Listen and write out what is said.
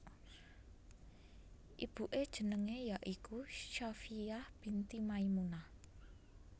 Ibuke jenenge ya iku Shafiyyah binti Maimunah